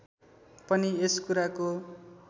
पनि यस कुराको